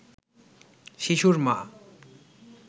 শিশুর মা